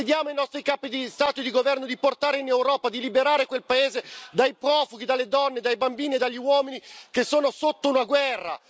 Chiediamo ai nostri capi di Stato e di governo di portare in Europa e di liberare quel paese dai profughi, dalle donne e dai bambini e dagli uomini che sono sotto una guerra.